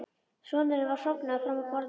Sonurinn var sofnaður fram á borðið.